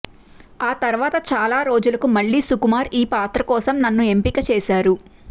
ఆ తర్వాత చాలా రోజులకు మళ్లీ సుకుమార్ ఈ పాత్ర కోసం నన్ను ఎంపిక చేశారు